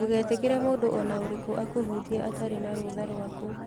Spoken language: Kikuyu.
Ndũgetĩkĩre mũndũ o na ũrĩkũ akũhutie atarĩ na rũtha rwaku.